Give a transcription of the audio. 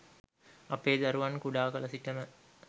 අපේ දරුවන් කුඩා කල සිටම